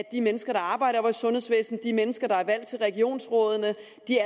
de mennesker der arbejder i sundhedsvæsenet de mennesker der er valgt til regionsrådene